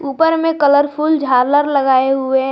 ऊपर में कलरफुल झालर लगाए हुए।